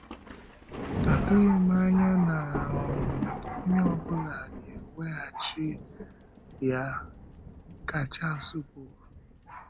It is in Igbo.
“Atụghị m anya na um onye ọ bụla ga-eweghachi ya,” ka Chárlés kwùrù.